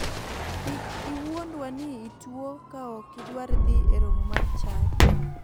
Kik iwundwa ni ituo ka ok idwar dhi e romo mar chadi